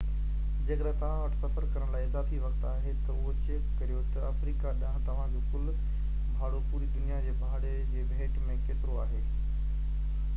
جيڪڏهن توهان وٽ سفر ڪرڻ لاءِ اضافي وقت آهي ته اهو چيڪ ڪريو ته افريقا ڏانهن توهان جو ڪُل ڀاڙو پوري دنيا جي ڀاڙي جي ڀيٽ ۾ ڪيترو آهي